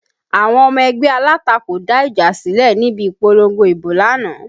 Àwọn ọmọ ẹgbẹ́ alátakò dá ìjà sílẹ̀ níbi ìpolongo ibo lánàá